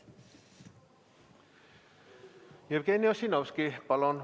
Jevgeni Ossinovski, palun!